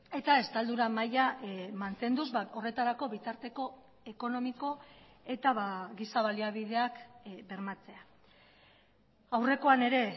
eta estaldura maila mantenduz horretarako bitarteko ekonomiko eta giza baliabideak bermatzea aurrekoan ere